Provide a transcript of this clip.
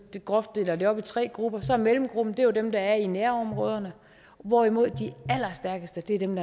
groft deler det op i tre grupper og tager mellemgruppen den der er i nærområderne hvorimod de allerstærkeste er dem